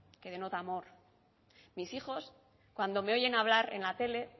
que denota amor mis hijos cuando me oyen hablar en la tele